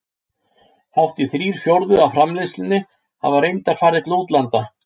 Hátt í þrír fjórðu af framleiðslunni hafa reyndar farið til útlanda.